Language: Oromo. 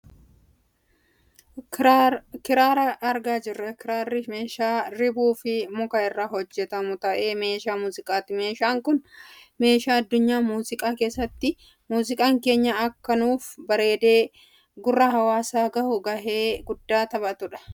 Kiraara argaa jirra. Kiraarri meeshaa ribuu fi muka irraa hojjatamu ta'ee meeshaa muuziqaati. Meeshaan kun meeshaa addunyaa muuziqaa keessatti muuziqaan keenya akka nuuf bareedee gurra hawaasaa gahuu gahee guddaa taphatudha.